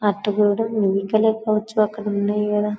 అటు కూడా పోవచ్చు అక్కడ ఉన్నాయ్ కదా.